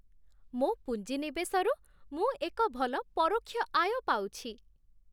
ମୋ ପୁଞ୍ଜିନିବେଶରୁ ମୁଁ ଏକ ଭଲ ପରୋକ୍ଷ ଆୟ ପାଉଛି।